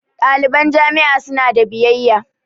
Ɗaliban jami'a su na da biyayya